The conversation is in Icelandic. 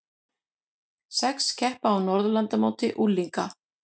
Sex keppa á Norðurlandamóti unglinga